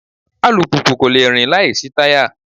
Alùpùpù kò le rìn láìsí táyà